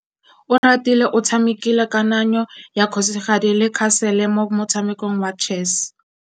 Oratile o tshamekile kananyô ya kgosigadi le khasêlê mo motshamekong wa chess.